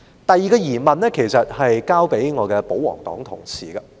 第二個疑問，是向我的保皇黨同事提出的。